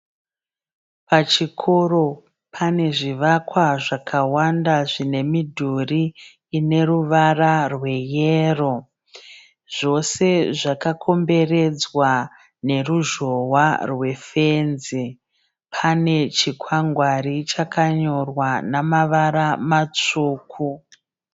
Pachikoro pane zvivakwa zvakawanda zvine mudhuri ine ruvara rweyero zvose zvakakomberedzwa neruzhowa rwefenzi. Pane chikwangwari chakanyorwa namavara matsvuku.